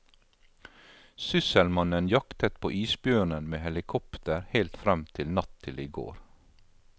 Sysselmannen jaktet på isbjørnen med helikopter helt frem til natt til i går.